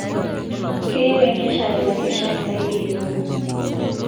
Keyieu enkeshare lakeshak saidi e obo